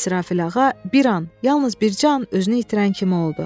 İsrafil ağa bir an, yalnız bircə an özünü itirən kimi oldu.